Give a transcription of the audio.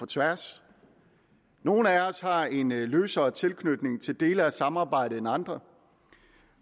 tværs nogle af os har en løsere tilknytning til dele af samarbejdet end andre